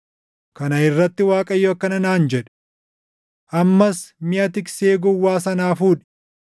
Kana irratti Waaqayyo akkana naan jedhe; “Ammas miʼa tiksee gowwaa sanaa fuudhi.